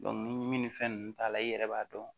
ni min ni fɛn ninnu t'a la i yɛrɛ b'a dɔn